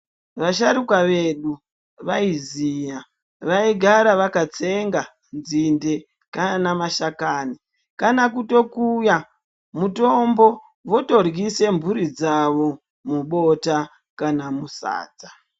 Vasharuka vedu vaiziya vaigara vakatsenga nzinde kana mashakani kana kutokuya mutombo votoryise mhuri dzavo mubota kana musadza.